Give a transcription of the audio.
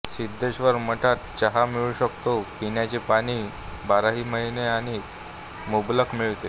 सिद्धेश्वर मठात चहा मिळू शकतो पिण्याचे पाणी बाराही महिने आणि मुबलक मिळते